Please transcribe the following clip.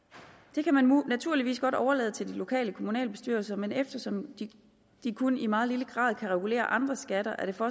det kan man naturligvis godt overlade til de lokale kommunalbestyrelser men eftersom de kun i meget lille grad kan regulere andre skatter er der for